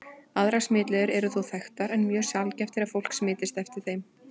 Aðrar smitleiðir eru þó þekktar, en mjög sjaldgæft er að fólk smitist eftir þeim.